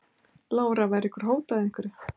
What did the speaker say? Lára: Var ykkur hótað einhverju?